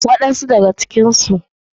Waɗan su daga cikinsu.